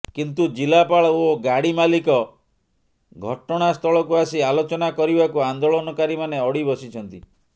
କିନ୍ତୁ ଜିଲ୍ଲାପାଳ ଓ ଗାଡି ମାଲିକ ଘଟଣାସ୍ଥଳକୁ ଆସି ଆଲୋଚନା କରିବାକୁ ଆନ୍ଦୋଳନକାରୀମାନେ ଅଡି ବସିଛନ୍ତି